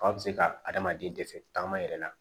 Fa bɛ se ka adamaden dɛsɛ taama yɛrɛ la